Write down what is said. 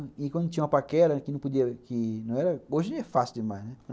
E e quando tinha uma paquera, que não podia, que hoje é fácil demais, né?